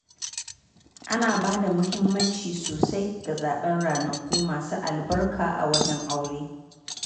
Ana ba da muhimmanci sosai ga zaɓen ranaku masu albarka a wajen aure.